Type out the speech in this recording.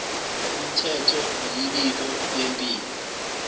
umthetho imibiko yempilo